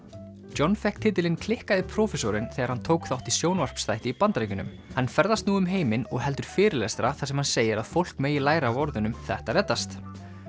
John fékk titilinn klikkaði prófessorinn þegar hann tók þátt í sjónvarpsþætti í Bandaríkjunum hann ferðast nú um heiminn og heldur fyrirlestra þar sem hann segir að fólk megi læra af orðunum þetta reddast